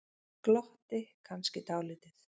Glotti kannski dálítið.